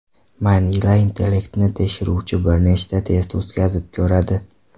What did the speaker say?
Manila intellektni tekshiruvchi bir nechta test o‘tkazib ko‘radi.